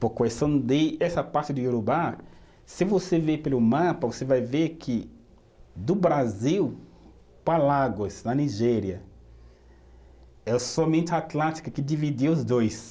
Por questão de essa parte do Iorubá, se você ver pelo mapa, você vai ver que do Brasil para Lagos, na Nigéria, é somente a Atlântica que dividiu os dois.